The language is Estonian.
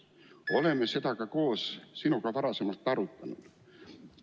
Me oleme seda koos sinuga varem arutanud.